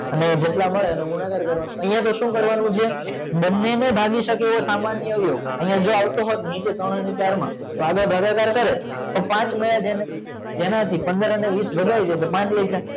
અને જેટલા મરે એનો ગુણાકાર કરવાનો આય તો સુ કરવાનું છે બને ને ભાગી સકે એવો સામાન્ય અવયવ આય જો આવતો હોત નીચે ત્રણ અને ચાર માં સાદો ભાગાકાર કરે તો પાંચ છે જેનાથી પંદર અને વીસ ભાગાય જાય તો પાંચ વધ્યા